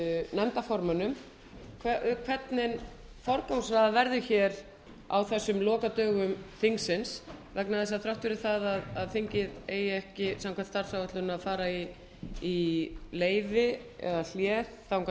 nefndarformönnum hvernig forgangsraðað verði á þessum lokadögum þingsins vegna þess að þrátt fyrir það að þingið eigi ekki samkvæmt starfsáætlun að fara í leyfi eða hlé þangað